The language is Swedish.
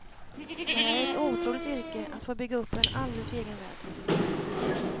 Det här är ett otroligt yrke, att få bygga upp en alldeles egen värld.